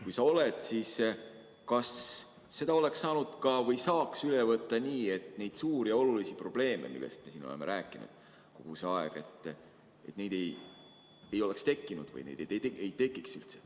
Kui oled, siis kas seda saaks üle võtta ka nii, et neid suuri ja olulisi probleeme, millest me oleme siin kogu see aeg rääkinud, ei tekiks?